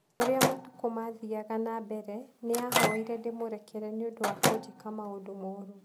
O ũrĩa matukũ maathiaga na mbere, nĩ ahoire ndĩmũrekere nĩ ũndũ wa kũnjĩka maũndũ moru